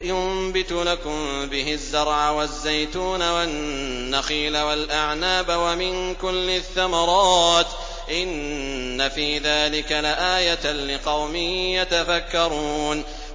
يُنبِتُ لَكُم بِهِ الزَّرْعَ وَالزَّيْتُونَ وَالنَّخِيلَ وَالْأَعْنَابَ وَمِن كُلِّ الثَّمَرَاتِ ۗ إِنَّ فِي ذَٰلِكَ لَآيَةً لِّقَوْمٍ يَتَفَكَّرُونَ